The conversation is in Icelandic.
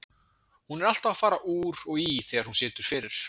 Hún er alltaf að fara úr og í þegar hún situr fyrir.